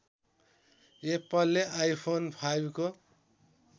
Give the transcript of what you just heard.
एप्पलले आइफोन फाइभको